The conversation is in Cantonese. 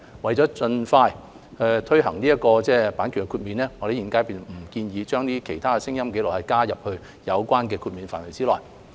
為了盡快推行與閱讀殘障人士有關的版權豁免，現階段我們不建議將其他聲音紀錄加入有關的豁免範圍內。